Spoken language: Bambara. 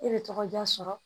E bɛ tɔgɔ diya sɔrɔ